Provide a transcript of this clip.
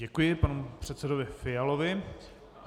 Děkuji panu předsedovi Fialovi.